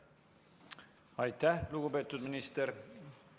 Aitäh, lugupeetud minister!